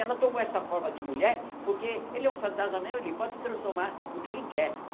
Ela tomou essa forma de mulher porque ele é um fantasma mesmo ele pode se transformar no que ele quer.